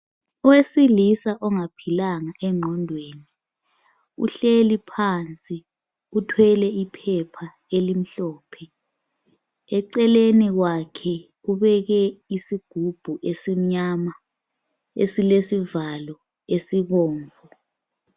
Owesilisa ongaphilanga engqondweni uhleli phansi uthwele iphepha elimhlophe. Eceleni kwakhe ubeke isigubhu esimnyama esilesivalo esibomvu.